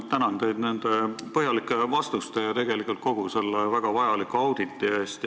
Tänan teid nende põhjalike vastuste ja tegelikult kogu selle väga vajaliku auditi eest!